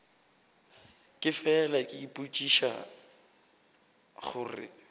ke fela ke ipotšiša gore